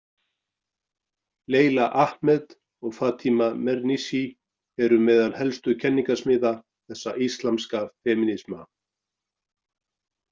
Leila Ahmed og Fatima Mernissi eru meðal helstu kenningasmiða þessa íslamska femínisma.